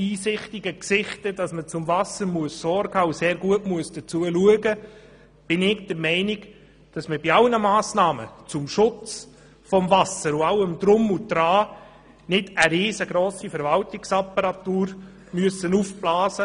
Trotzdem müssen wir gut darauf achten, dass wir bei allen Massnahmen zum Schutz des Wassers keine riesengrosse Verwaltungsapparatur aufblasen.